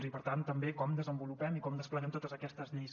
i per tant també com desenvolupem i com despleguem totes aquestes lleis